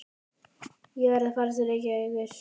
Ég verð að fara til Reykjavíkur!